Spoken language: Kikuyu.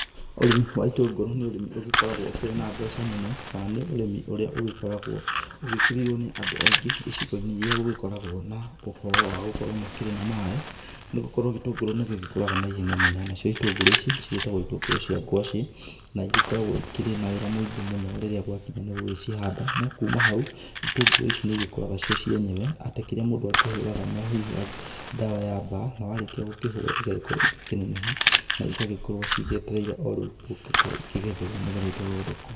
Ũrĩmi wa itũngũrũ nĩ ũrĩmi ũgĩkoragwo ũkĩrĩ na mbeca mũno, kana nĩ ũrĩmi ũrĩa ũgĩkoragwo ũgĩkĩrĩirwo nĩ Andũ aingĩ, icigo-inĩ iria igĩkoragwo na ũhoro wa gũkorwo makĩrĩ na maĩ. Nĩgũkorwo gĩtũngũrũ nĩgĩgĩkũraga na ihenya mũno. Nacio itũngũrũ ici cigĩtagwo itũngũrũ cia ngwaci, na igĩkoragwo ĩkĩrĩ na wĩra mũingĩ mũno rĩrĩa gwagĩkinya nĩ gũgĩcihanda. No kuma hau ĩtũngũrũ ici nĩigĩkũraga cio cienyewe, atĩ kĩrĩa mũndũ akĩhũraga no hihi ndawa ya mbaa. Na warĩkia gũkĩhũra, igagĩkorwo igĩkĩneneha na igagĩkorwo cigĩetereire o rĩu gũgĩkorwo ikĩgethwo nĩgetha itwarwo thoko